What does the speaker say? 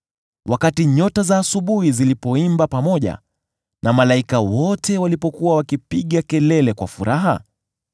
wakati nyota za asubuhi zilipoimba pamoja, na malaika wote walipokuwa wakipiga kelele kwa furaha?